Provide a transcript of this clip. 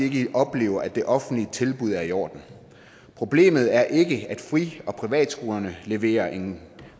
ikke oplever at det offentlige tilbud er i orden problemet er ikke at fri og privatskolerne leverer en